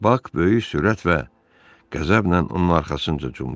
Bax böyük sürət və qəzəblə onun arxasınca cumdu.